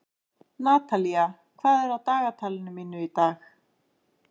Natalía, hvað er á dagatalinu mínu í dag?